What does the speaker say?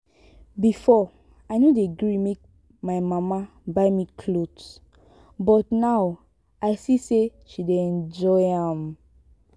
before i no dey gree make my mama buy me cloth but now i see say she dey enjoy am